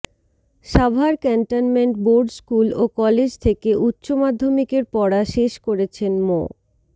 Savar cantonment board school ও college থেকে উচ্চমাধ্যমিকের পড়া শেষ করেছেন মো